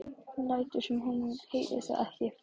Lætur sem hún heyri það ekki.